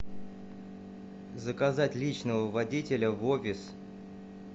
заказать личного водителя в офис